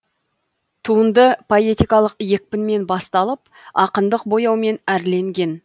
туынды поэтикалық екпінмен басталып ақындық бояумен әрленген